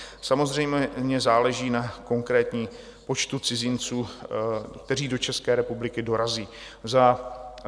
Samozřejmě záleží na konkrétním počtu cizinců, kteří do České republiky dorazí.